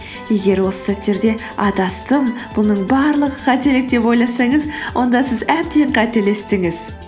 егер осы сәттерде адастым бұның барлығы қателік деп ойласаңыз онда сіз әбден қателестіңіз